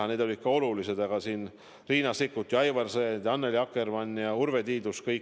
Ent need olid ka olulised küsimused, mida Riina Sikkut, Aivar Sõerd, Annely Akkermann ja Urve Tiidus tahtsid esitada.